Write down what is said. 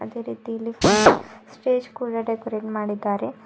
ಅದೇ ರೀತಿಲಿ function stage ಕೂಡ ಡೆಕೋರೇಟ್ ಮಾಡಿದ್ದಾರೆ.